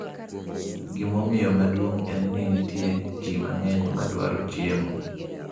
Gimomiyo maduong’ en ni nitie ji mang’eny ma dwaro chiemo.